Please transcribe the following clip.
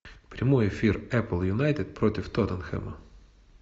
прямой эфир апл юнайтед против тоттенхэма